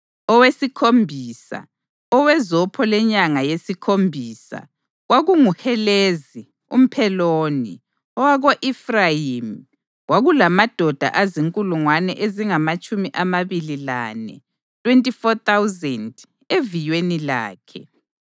Owesikhombisa, owezopho lenyanga yesikhombisa, kwakunguHelezi umPheloni, owako-Efrayimi. Kwakulamadoda azinkulungwane ezingamatshumi amabili lane (24,000) eviyweni lakhe.